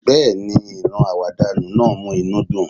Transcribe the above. Bẹ́ẹ̀ni, ìran àwàdànu náà mú inú dùn